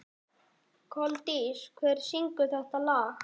Koldís, hver syngur þetta lag?